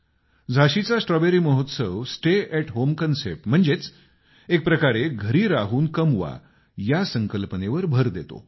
झाशीचा strawberry महोत्सव stay at home संकल्पनेवर भर देतो